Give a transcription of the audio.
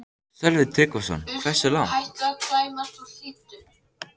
Sölvi Tryggvason: Hversu langt?